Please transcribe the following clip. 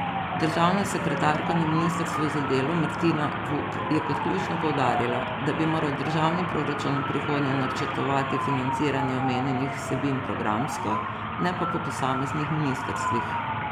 Državna sekretarka na ministrstvu za delo Martina Vuk je kot ključno poudarila, da bi moral državni proračun v prihodnje načrtovati financiranje omenjenih vsebin programsko, ne pa po posameznih ministrstvih.